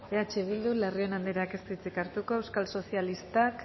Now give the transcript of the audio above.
eh bildu larrion andreak ez du hitzik hartuko euskal sozialistak